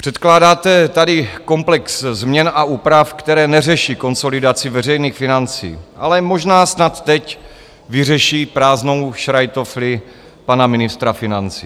Předkládáte tady komplex změn a úprav, které neřeší konsolidaci veřejných financí, ale možná snad teď vyřeší prázdnou šrajtofli pana ministra financí.